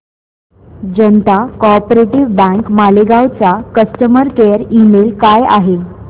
जनता co-op bank Malegaon चा customer care email काय आहे